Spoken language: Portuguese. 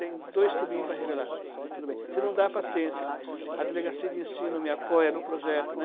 Tem dois tubinhos para revelar, tudo bem, se não dá, paciência, a delegacia de ensino me apoia no projeto, né?